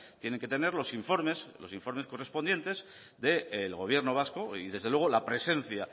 tienen que tener los informes los informes correspondientes del gobierno vasco y desde luego la presencia